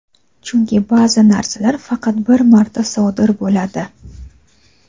chunki baʼzi narsalar faqat bir marta sodir bo‘ladi.